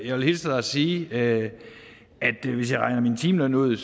jeg vil hilse og sige at hvis jeg regner min timeløn ud